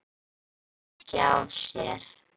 en hún bærði ekki á sér.